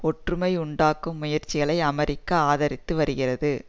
ஒற்றுமை உண்டாக்கும் முயற்சிகளை அமெரிக்கா ஆதரித்து வருகிறது